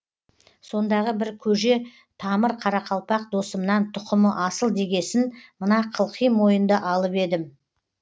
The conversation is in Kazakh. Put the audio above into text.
сондағы бір көже тамыр қарақалпақ досымнан тұқымы асыл дегесін мына қылқи мойынды алып едім